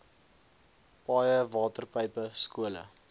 paaie waterpype skole